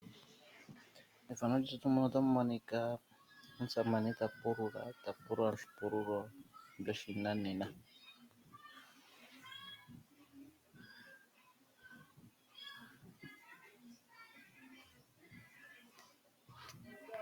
Methano muka otamu monika omusamane ta pulula, ta pulula neshina lyo shinanena.